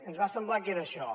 ens va semblar que era això